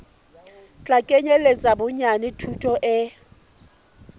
tla kenyeletsa bonyane thuto e